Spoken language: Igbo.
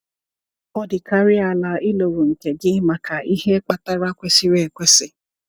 Ọ dịkarịa ala ị lụrụ nke gị maka ihe kpatara kwesịrị ekwesị.